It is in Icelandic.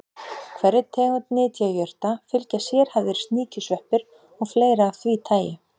Hverri tegund nytjajurta fylgja sérhæfðir sníkjusveppir og fleira af því tagi.